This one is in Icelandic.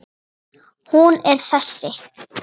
Hún er þessi